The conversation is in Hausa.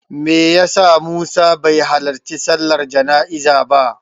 Me ya sa Musa bai halarci sallar jana'izar ba?